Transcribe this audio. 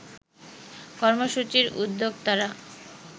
কর্মসূচির উদ্যোক্তারা